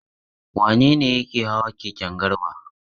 Wane ne yake hawa keken Garba?